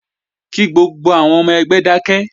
Kí gbogbo àwọn ọmọ ẹgbẹ́ dákẹ́!